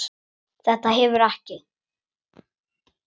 Þetta hefur ekki?